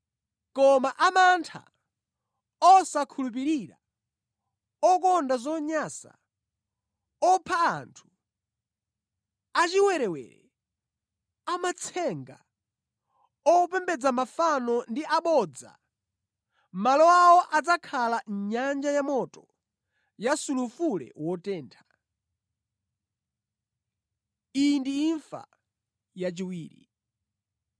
Koma amantha, osakhulupirira, okonda zonyansa, opha anthu, achiwerewere, amatsenga, opembedza mafano ndi abodza, malo awo adzakhala nyanja yamoto ya sulufule wotentha. Iyi ndi imfa yachiwiri.”